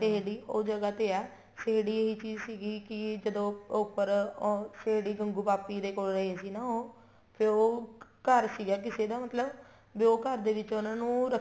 ਉਹ ਜਗਾਂ ਤੇ ਹੈ ਇਹ ਚੀਜ਼ ਸੀਗੀ ਕੀ ਜਦੋਂ ਉੱਪਰ ਗੰਗੂ ਪਾਪੀ ਦੇ ਕੋਲ ਰਹੇ ਸੀ ਨਾ ਉਹ ਫ਼ੇਰ ਉਹ ਘਰ ਸੀਗਾ ਕਿਸੇ ਦਾ ਮਤਲਬ ਵੀ ਉਹ ਘਰ ਦੇ ਵਿੱਚ ਉਹਨਾ ਨੂੰ